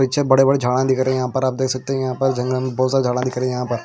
पीछे बड़े-बड़े झाड़ा दिख रहे हैं यहां पर आप देख सकते हैं यहां पर जंगल में बहुत सारे झाड़ा दिख रहे हैं यहाँ पर--